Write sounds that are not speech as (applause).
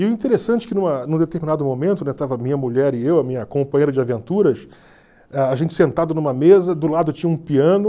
E o interessante é que numa, em um determinado momento, (unintelligible) estava a minha mulher e eu, a minha companheira de aventuras, a gente sentado em uma mesa, do lado tinha um piano...